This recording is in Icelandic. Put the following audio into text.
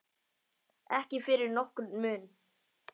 Ekki fyrir nokkurn mun.